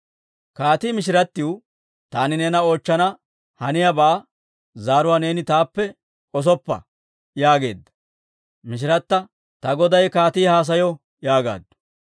Kaatii mishirattiw, «Taani neena oochchana haniyaabaa zaaruwaa neeni taappe k'osoppa» yaageedda. Mishirata, «Ta goday kaatii haasayo» yaagaaddu.